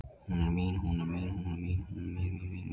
Hún er mín, hún er mín, hún er mín, mín, mín